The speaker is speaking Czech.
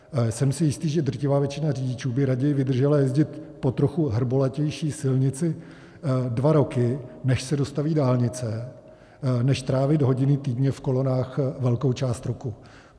Jsem si jistý, že drtivá většina řidičů by raději vydržela jezdit po trochu hrbolatější silnici dva roky, než se dostaví dálnice, než trávit hodiny týdně v kolonách velkou část roku.